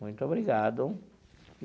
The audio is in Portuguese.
Muito obrigado.